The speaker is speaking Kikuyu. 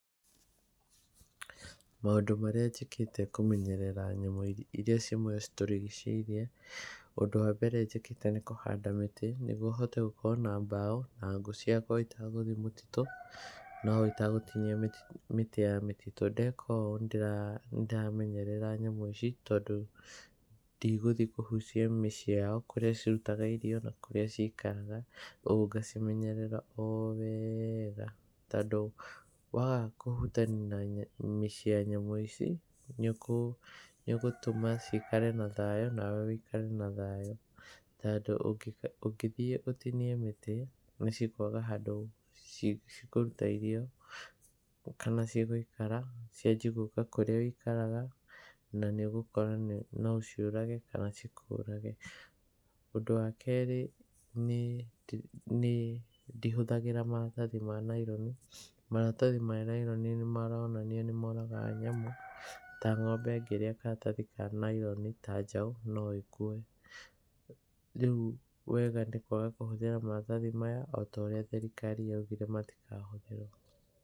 Maũndũ marĩa njĩkĩte kũmenyerera nyamu iria citũrigicĩirie: ũndũ wa mbere njĩkĩte nĩ kũhanda mĩtĩ nĩguo hote gũkorwo na mbau na ngũ ciakwa itagũthiĩ mũtitũ no itagũtinia mĩtĩ ya mĩtĩtu. Ndeka ũũ nĩ ndĩramenyerera nyamũ ici tondũ ndigũthiĩ kũhucia mĩciĩ yao kũrĩa cirutaga irio na kũrĩa cikaraga. Kogwo ngacimenyerera o wega, tondũ waga kũhutania na mĩciĩ ya nyamũ ici nĩ ũgũtuma cikare na thayu nawe ũikare na thayũ, tondũ ũngĩthiĩ ũtinie mĩtĩ ni cikwaga handũ cikũruta irio kana cigũikara cianjie gũka kũrĩa ũikaraga na nĩ ũgũkora no ũciũrage kana cikũrage. Ũndũ wa kerĩ nĩ ndihũthagĩra maratathi ma naironi. Maratathi ma naironi nĩ maronania nĩ moragaga nyamũ. Ta ng'ombe ĩngĩria karatathi ka naironi, ta njaũ no ĩkue. Rĩu wega nĩ kwaga kũhũthĩra maratathi maya o ta ũrĩa thirikari yaugĩre matikahũthĩrwo.